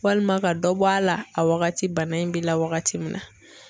Walima ka dɔ bɔ a la a wagati bana in bɛ la wagati min na.